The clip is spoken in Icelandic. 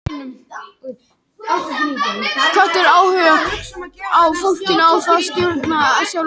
Hvatinn, áhuginn bjó í fólkinu og það stjórnaði sjálft náminu.